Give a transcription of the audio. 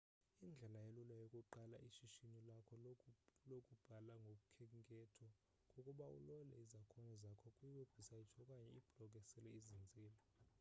indlela elula yokuqala ishishini lakho lokubhala ngokhenketho kukuba ulole izakhono zakho kwi webhusaythi okanye iblog esele izinzile